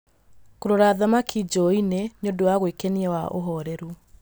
Kũrora thamaki njũũĩ-inĩ nĩ ũndũ wa gwĩkenia wa ũhoreru.